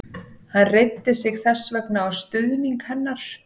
Hann reiddi sig þess vegna á stuðning hennar.